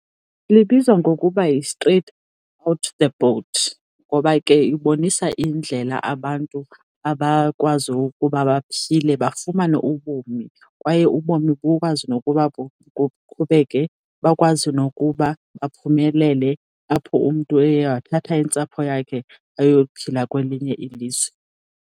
Libizwa ngokuba yiStraight Off the Boat ngoba ke ibonisa indlela abantu abakwazi ukuba baphile bafumane ubomi, kwaye ubomi bukwazi nokuba kuqhubeke. Bakwazi nokuba baphumelele apho umntu eye wathatha intsapho yakhe ayophila kwelinye ilizwe.